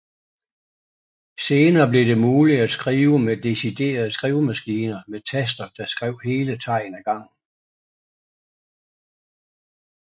Senere blev det muligt at skrive med deciderede skrivemaskiner med taster der skrev hele tegn af gangen